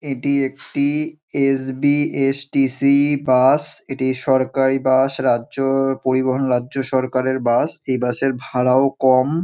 এটি একটি SBSTC bus. এটি সরকারি বাস রাজ্য পরিবহন রাজ্য সরকারের বাস । এই বাস -এর ভাড়াও কম।